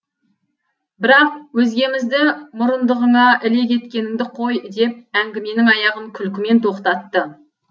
бірақ өзгемізді мұрындығыңа іле кеткеніңді қой деп әңгіменің аяғын күлкімен тоқтатты